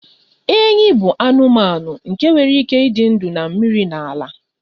Enyí bụ anụmanụ nke nwere ike ịdị ndụ na mmiri na ala.